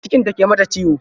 Cikin ta ke mata ciwo.